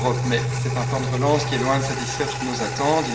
Mais c'est un plan de relance qui est loin de satisfaire toutes nos attentes.